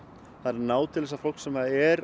ná til þessa fólks sem er